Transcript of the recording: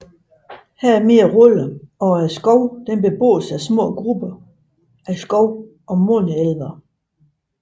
Her er mere roligt og skoven beboes af små grupper af skov og måne elvere